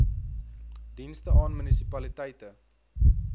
dienste aan munisipaliteite